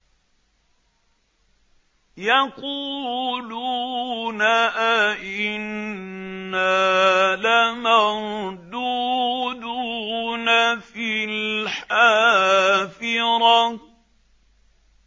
يَقُولُونَ أَإِنَّا لَمَرْدُودُونَ فِي الْحَافِرَةِ